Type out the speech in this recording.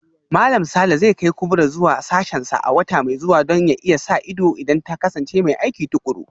Malam Sule zai kai Kubrat zuwa sashensa a wata mai zuwa Don ya iya sa ido idan ta kasance mai aiki tukuru